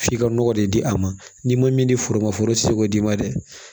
F'i ka nɔgɔ de di a ma n'i ma min di foro ma foro ti se k'o d'i ma dɛ